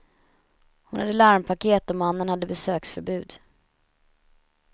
Hon hade larmpaket och mannen hade besöksförbud.